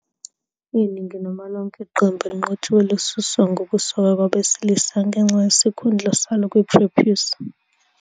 Iningi noma lonke iqembu eliqotshiwe lisuswa ngokusokwa kwabesilisa ngenxa yesikhundla salo kwi-prepuce.